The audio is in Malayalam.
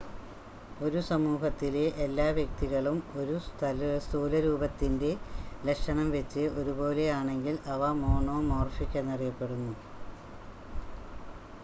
ഒരു സമൂഹത്തിലെ എല്ലാ വ്യക്തികളും ഒരു സ്ഥൂലരൂപത്തിൻ്റ ലക്ഷണം വെച്ച് ഒരുപോലെ ആണെങ്കിൽ അവ മോണോമോർഫിക് എന്നറിയപ്പെടുന്നു